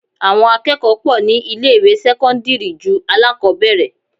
Àwọn akẹ́kọ̀ọ́ pọ̀ ní ilé ìwé sẹ́cọ́ndírì ju alákọbẹ̀rẹ̀.